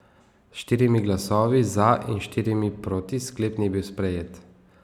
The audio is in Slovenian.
S štirimi glasovi za in štirimi proti sklep ni bil sprejet.